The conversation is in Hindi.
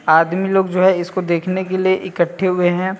आदमी लोग जो है इसको देखने के लिए इकट्ठे हुए हैं।